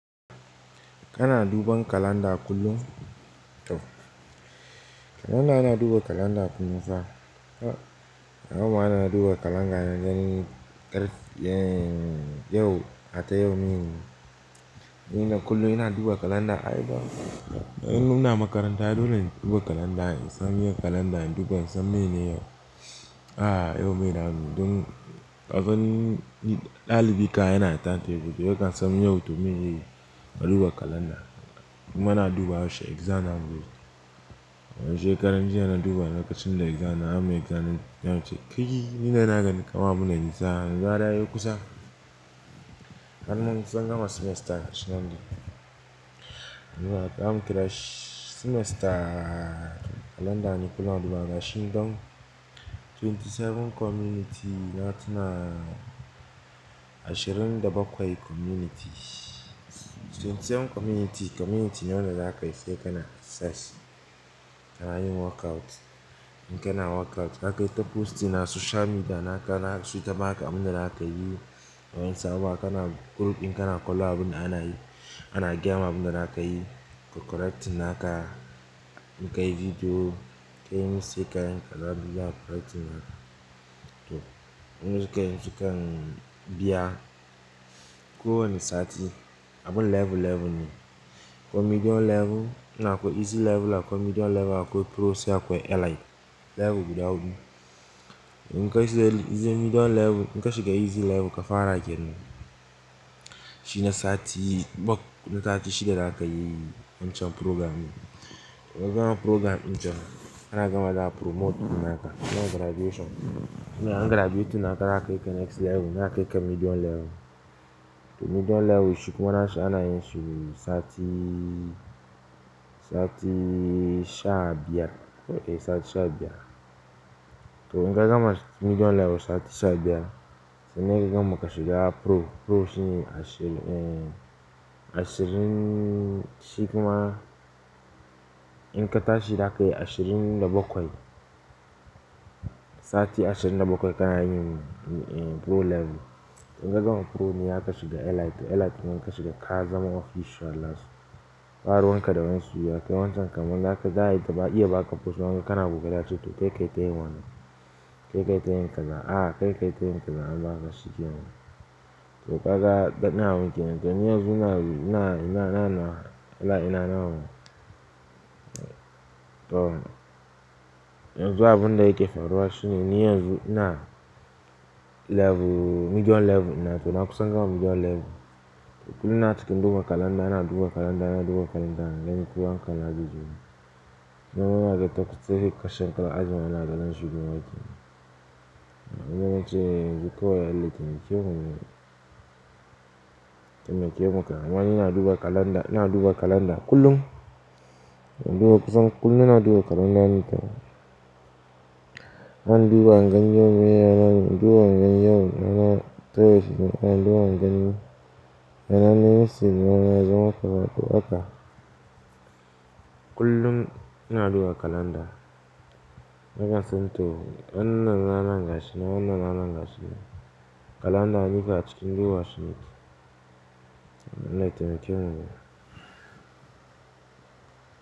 Kana duba kalanda kullum? To kalanda ina duba kalanda kullum fa. Ranan ma da na duba kalanda na gani ƙar yau, har ta yau mi ne. Ina kullum ina duba kalanda. Ai ban, in na makaranta dole in duba kalanda in san me kalanda ina duba in san mene yau. A'a yau me za muyi Dun kasan ɗalibi kam ai yana timetable yau ka san yau to me zaiyi. Na duba kalanda. Kuma na duba yaushe exam na mu. Don shekaran jiya na duba na lokacin da exam na. Zamuyi exam nace kaii ni na gani kaman abun da nisa yanzu har yazo kusa. Har mun kusan gama semester gashinan dai zamu kirashi semester kalanda ne kullum duba gashi don 27 community na tuna ashirin da bakwai community. 27 community, community ne wanda zakayi sai kana sashi. Kana yin workout. In kana workout zaka yi ta posting a social media naka zasu suyi ta baka abunda zaka yi. Waensu abubuwa kana group in kana kallon abunda ana yi, ana gayama abunda zaka yi. Su correcting naka. In ka yi video, ka yi mistake ka yi kala biyan correcting naka. To in zuka yi sukan biya. Ko wani sati, abun level, level ne. Akwai medium level, akwai easy level, akwai medium level, akwai pro sai akwai elite. Level guda huɗu. In ka shiga medium level, in ka shiga easy level ka fara kenan. Shi na sati, na sati shida zakayi wancan program. In ka gama program din can, kana gama za a promoting naka. Ka gama graduation. Tunda an graduate naka za ka yi next level, za a kaika medium level. To medium level shi kuma nashi ana yin shi sati, sati sha biyar. Eh sati sha biyar. To in ka gama medium level sati sha biyar, sai me ki gama ka shiga pro. Pro shi ne ashirin, eh ashirin shiku ma. In ka tashi zaka yi ashirin da bakwai. Sati ashirin da bakwai kana yin pro level. In ka gama pro ne zaka shiga elite. Elite ne in ka shiga ka zama official nasu. Ba ruwan kada wani suya. Kai wancan kan ma da a iya ba aka post in an ga kana ƙoƙari sai ace to kai kai tayi wannan. Kai kai tayi kaza. A'a kai kai tayin kaza an baka shikenan. To kaga dadin abun kenan, to ni yanzu na, na, na, na, ela ina na wannan. To yanzu abunda yake faruwa shine ni yanzu ina level medium level na to na kusan gama medium level. To kullum ina cikkn duba kalanda, ina duba kalanda, ina duba kalanda, in gani ko hankalina zaije wurin. Na gama yake ta kutse ka shiga aji mana aka gane zuwa makaranta. Na gama wance zuka waya elite meke yi wannan. Don meke yi makaranta. Amma ni ina duba kalanda, ina duba kalanda kullum. Ina duba kusan kullum ina duba kalanda nita. Zan duba in gani yau me ranan. Duba gani yau wani rana. Ana duba gani yana ne Sin yana zaman karatu aka. Kullum ina duba kalanda. Na gama son to wannan na na gashi na wannan na na gashi nan. Kalanda nikam a cikin duba shi nake. Allah ya taimake mu dai.